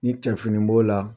Ni cɛfini b'o la